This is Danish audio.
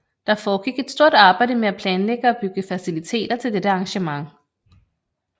Der foregik et stort arbejde med at planlægge og bygge faciliteter til dette arrangement